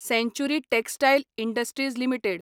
सँचुरी textiles industries limited